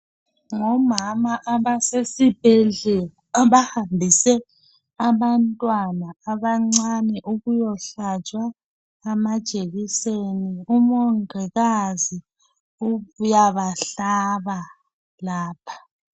Ngomama abasesibhedlela abahambise abantwana abancane ukuyalatshwa amajekiseni, umongikazi uyabahlaba lapha.